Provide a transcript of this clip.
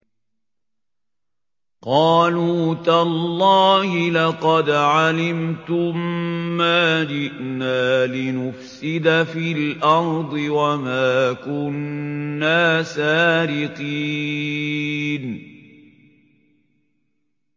قَالُوا تَاللَّهِ لَقَدْ عَلِمْتُم مَّا جِئْنَا لِنُفْسِدَ فِي الْأَرْضِ وَمَا كُنَّا سَارِقِينَ